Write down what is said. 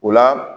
O la